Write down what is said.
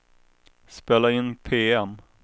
spela in PM